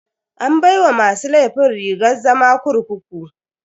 An baiwa masu laifin rigar zama kurkuku.